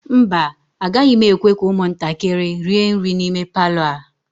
mba, agaghị m ekwe ka ụmụntakịrị rie nri n'ime Palọ a